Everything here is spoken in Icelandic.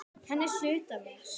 Hann er hluti af mér.